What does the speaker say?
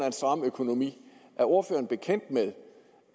en stram økonomi er ordføreren bekendt med